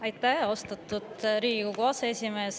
Aitäh, austatud Riigikogu aseesimees!